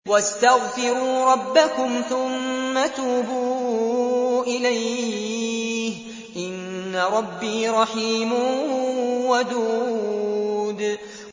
وَاسْتَغْفِرُوا رَبَّكُمْ ثُمَّ تُوبُوا إِلَيْهِ ۚ إِنَّ رَبِّي رَحِيمٌ وَدُودٌ